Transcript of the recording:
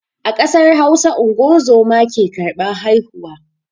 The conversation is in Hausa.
A ƙasar Hausa unguwar zoma ke karban haihuwa.